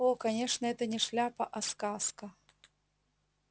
о конечно это не шляпа а сказка